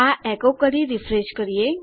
આ એકો કરી રીફ્રેશ કરીએ